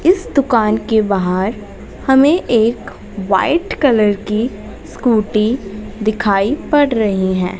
इस दुकान के बाहर हमें एक वाइट कलर की स्कूटी दिखाई पड़ रही है।